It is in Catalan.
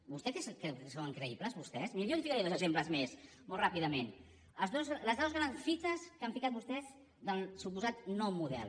vostè creu que són creïbles vostès miri jo li’n ficaré dos exemples més molt ràpidament les dues grans fites que han ficat vostès del suposat nou model